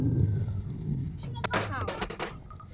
Ég kýs þá.